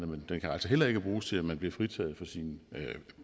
men den kan altså heller ikke bruges til at man bliver fritaget for sine